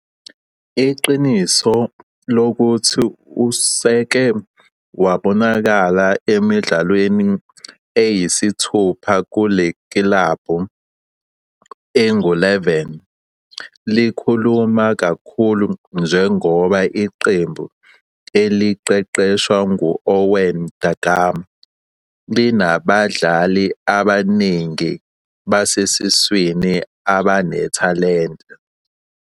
Iqiniso lokuthi useke wabonakala emidlalweni eyisithupha kule kilabhu engu-11 likhuluma kakhulu njengoba iqembu eliqeqeshwa ngu-Owen Da Gama linabadlali abaningi basesiswini abanethalente.